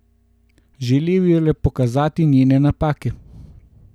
Želel ji je le pokazati njene napake.